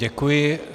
Děkuji.